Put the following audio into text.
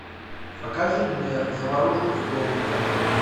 покажи мне заварушку в клоунаде